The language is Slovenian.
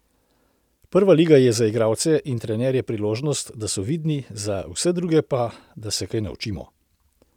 Prva liga je za igralce in trenerje priložnost, da so vidni, za vse druge pa, da se kaj naučimo.